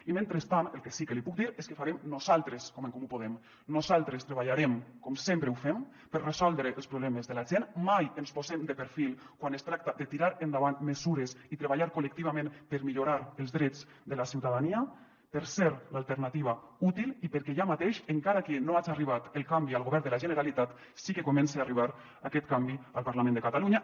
i mentrestant el que sí que li puc dir és què farem nosaltres com en comú podem nosaltres treballarem com sempre ho fem per resoldre els problemes de la gent mai ens posem de perfil quan es tracta de tirar endavant mesures i treballar col·lectivament per millorar els drets de la ciutadania per ser l’alternativa útil i perquè ja mateix encara que no haja arribat el canvi al govern de la generalitat sí que comença a arribar aquest canvi al parlament de catalunya